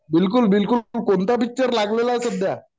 बिलकुल बिलकुल, कोणता पिक्चर लागलेला आहे सध्या